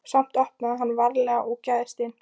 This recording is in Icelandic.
Samt opnaði hann varlega og gægðist inn.